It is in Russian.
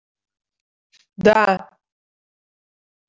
да